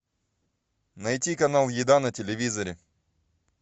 найти канал еда на телевизоре